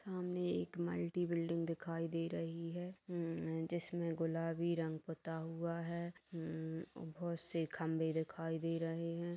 सामने एक multi building दिखाई दे रही है अम्म जिसमें गुलाबी रंग पुता हुआ है अम्म बहोत से खंभे दिखाई दे रहे हैं।